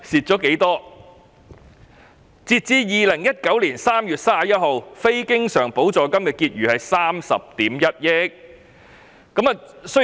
截至2019年3月31日，非經常補助金的結餘是30億 1,000 萬元。